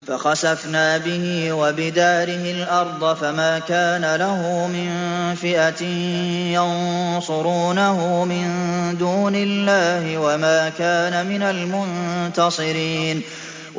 فَخَسَفْنَا بِهِ وَبِدَارِهِ الْأَرْضَ فَمَا كَانَ لَهُ مِن فِئَةٍ يَنصُرُونَهُ مِن دُونِ اللَّهِ وَمَا كَانَ مِنَ الْمُنتَصِرِينَ